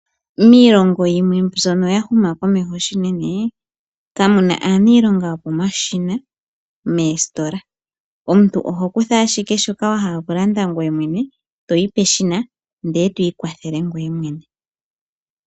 Miilongo yimwe mbyono ya huma komeho shinene kamuna aaniilonga yopomashina meesitola, omuntu oho kutha ashike shoka wa hala okulanda ngoye mwene, toyi peshina ndele twiikwathele ngweye mwene.